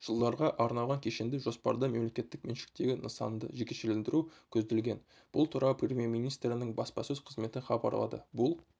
жылдарға арналған кешенді жоспарда мемлекеттік меншіктегі нысанды жекешелендіру көзделген бұл туралы премьер-министрінің баспасөз қызметі хабарлады бұл